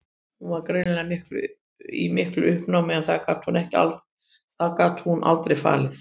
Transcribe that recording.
Hún var greinilega í miklu uppnámi en það gat hún aldrei falið.